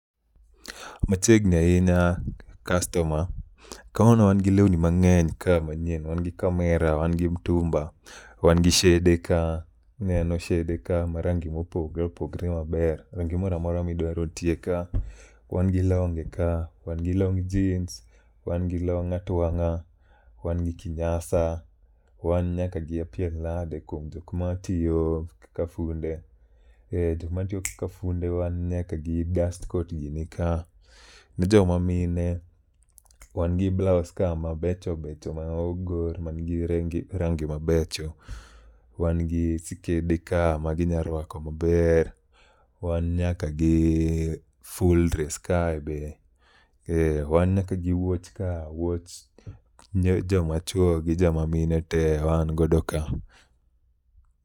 Machiegni ahinya kastoma, kawuono wan gi lewni ka manyien. Wan gi kamera, wan gi mtumba, wan gi shede ka, ineno shede ka ma rangi mopogre opogre maber. Rangi moramora midwaro nitie ka, wan gi longe ka, wan gi long' jins, wan gi long' atwang'a, wan gi kinyasa, wan nyaka gi apiel nade kuom jokma tiyo kaka funde. E, jokma tiyo kaka funde wan nyaka gi dust coat gi ni ka. Ne joma mine, wan gi blaos ka mabecho becho ma ogor man gi rangi mabecho. Wan gi sikede ka ma ginyarwako maber, wan nyaka gi full dress kae be. E, wan nyaka gi wuoch ka wuoch joma chuo gi joma mine te wan godo ka.